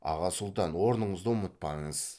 аға сұлтан орныңызды ұмытпаңыз